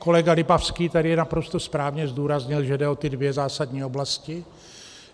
Kolega Lipavský tady naprosto správně zdůraznil, že jde o ty dvě zásadní oblasti.